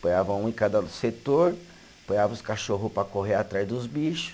Ponhava um em cada setor, ponhava os cachorro para correr atrás dos bicho.